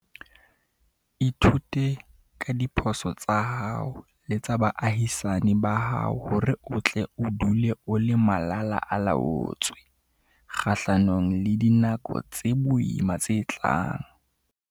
Ithute ka diphoso tsa hao le tsa baahisani ba hao hore o tle o dule o le malala-a-laotswe kgahlanong le dinako tse boima tse tlang.